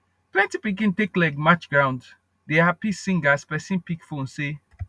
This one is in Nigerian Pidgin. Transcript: plenty pikin take leg march ground dey happy sing as pesin pick phonesay